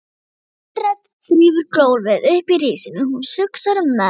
Andrea þrífur gólfið uppi í risinu, hún hugsar um menn